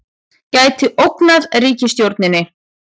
Gæti ógnað ríkisstjórninni